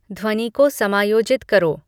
ध्वनि को समायोजित करो